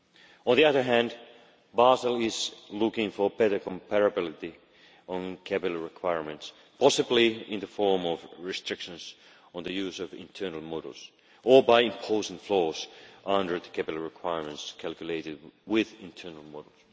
On the other hand, Basel is looking for better comparability on capital requirements, possibly in the form of restrictions on the use of internal models or by imposing flows under the capital requirements calculated with internal models.